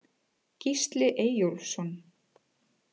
Gísli Eyjólfsson